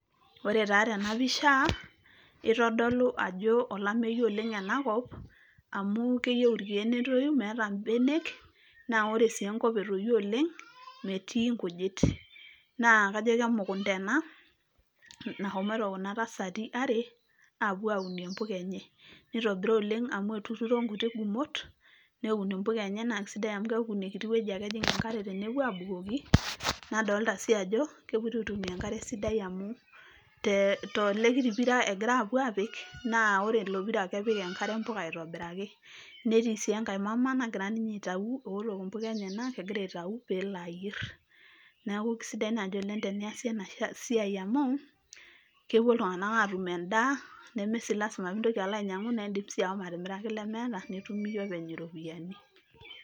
Ore taa tena pisha itodolu ajo olameyu oleng ena kop amu keyieu irkieek netoyu meeta mbenek , na ore sii enkop etoyio oleng metii nkujit . Naa kajo kemukunta ena nashomoito kuna tasati are apuo aunie impuka enye ,nitobira oleng amu etuturo nkuti gumot neun impuka enye naa kisidai amu keaku ina kiti wueji ake ejing enkare tenepuo abukoki ,nadolta sii ajo kepoito aitumia enkare sidai amu to tele kiti pira egira apuo apik naa ore ilo pira kepik enkare mpuka aitobiraki. Netii sii enkae mama nagira ninye aitayu eotok impuka enyenak egira aitayu pelo ayier. Niaku kisidai naji oleng teniasi ena siai amu kepuo iltunganak atum endaa , neme sii lasima pintoki alo ainyiangu naa idim sii ashomoatimiraki lemeeta nitum iyie openy iropiyiani.